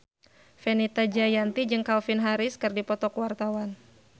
Fenita Jayanti jeung Calvin Harris keur dipoto ku wartawan